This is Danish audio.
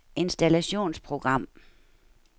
installationsprogram